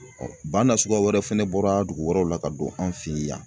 bana nasuguya wɛrɛ fɛnɛ bɔra dugu wɛrɛw la ka don an' fe yen.